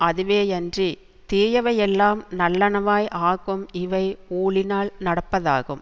அதுவேயன்றித் தீயவையெல்லாம் நல்லனவாய் ஆக்கும் இவை ஊழினால் நடப்பதாகும்